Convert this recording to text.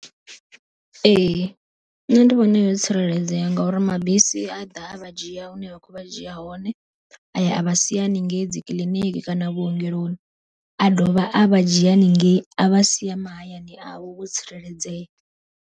Ee nṋe ndi vhona yo tsireledzea ngauri mabisi aḓa a vha dzhia hune a kho vha dzhia hone, aya vha sia haningei dzi kiḽiniki kana vhuongeloni. A dovha a vha dzhia haningei a vha sia mahayani avho vho tsireledzea.